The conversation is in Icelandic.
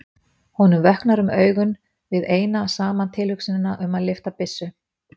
Honum vöknar um augu við eina saman tilhugsunina um að lyfta byssu.